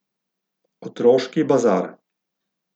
Otroški bazar.